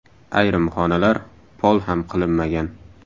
Ayrim xonalar pol ham qilinmagan.